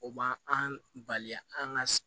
O ma an bali an ka